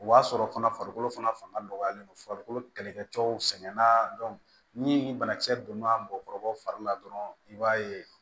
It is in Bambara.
O b'a sɔrɔ fana farikolo fana fanga dɔgɔyalen don farikolo kɛlɛkɛcɛw sɛgɛnna ni banakisɛ donna mɔgɔkɔrɔbaw fari la dɔrɔn i b'a ye